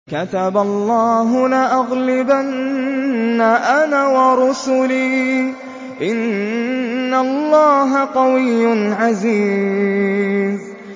كَتَبَ اللَّهُ لَأَغْلِبَنَّ أَنَا وَرُسُلِي ۚ إِنَّ اللَّهَ قَوِيٌّ عَزِيزٌ